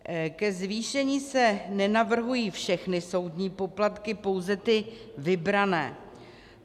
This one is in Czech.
Ke zvýšení se nenavrhují všechny soudní poplatky, pouze ty vybrané.